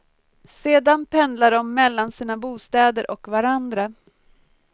Sedan pendlar de mellan sina bostäder och varandra.